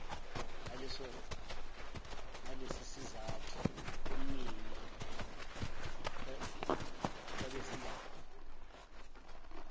ngalesisizathu ubumnini babezindaba